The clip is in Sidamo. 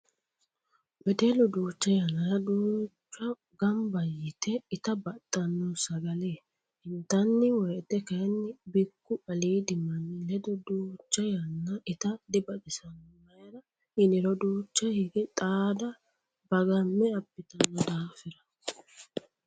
Wedellu duucha yanna duuchu gamba yee itta baxano, sagale intanni woyte kayinni bikku aliidi manni ledo duucha yanna itta dibaxisano mayra yinniro duucha hige xaada bagame abbittano daafira.